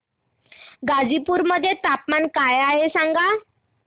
गाझीपुर मध्ये तापमान काय आहे सांगा